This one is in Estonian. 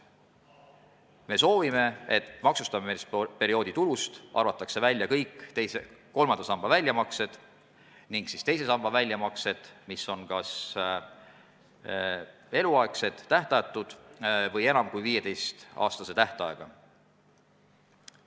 Me soovime, et maksustamisperioodi tulust arvatakse välja kõik kolmanda samba väljamaksed ning teise samba väljamaksed, mis on kas eluaegsed, tähtajatud või enam kui 15-aastase tähtajaga.